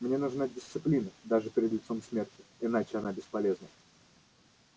мне нужна дисциплина даже перед лицом смерти иначе она бесполезна